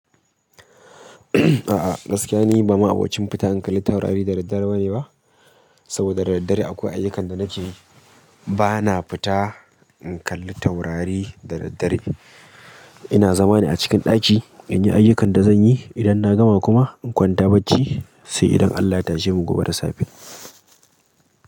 A'a gaskiya ni ba ma'abocin fita in kalli taurari da daddare ba ne ba, saboda da daddare akwai ayyukan da nake yi. Ba na fita in kalli taurari da daddare. Ina zama ne a cikin ɗaki in yi ayyukan da zan yi. Idan na gama kuma in kwanta bacci sai idan Allah ta je mu gobe da safe.